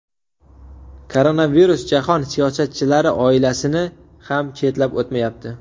Koronavirus jahon siyosatchilari oilasini ham chetlab o‘tmayapti.